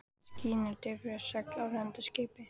Skýin eru drifhvít segl á rennandi skipi.